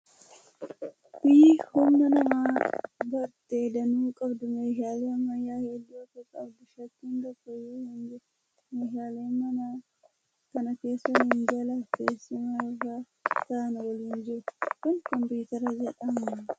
Biyyi humn nama baratee danuu qabdu meeshaalee ammayyaa hedduu akka qabdu shakkiin tokko iyyuu hin jiru! Meeshaaleen mana kana keessa minjaalaa fi teessuma irra taa'an waliin jiru kun kompiitara jedhama.